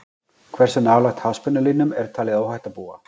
hversu nálægt háspennulínum er talið óhætt að búa